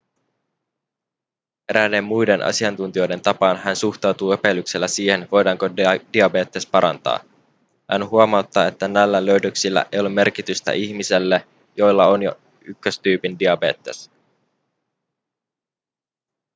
eräiden muiden asiantuntijoiden tapaan hän suhtautuu epäilyksellä siihen voidaanko diabetes parantaa hän huomauttaa että näillä löydöksillä ei ole merkitystä ihmisille joilla on jo 1-tyypin diabetes